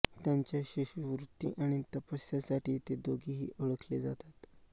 त्यांच्या शिष्यवृत्ती आणि तपस्यासाठी ते दोघेही ओळखले जातात